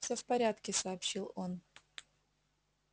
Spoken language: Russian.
всё в порядке сообщил он